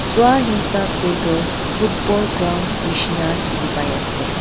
jua hisap te toh football ground nishina dikhi pai ase.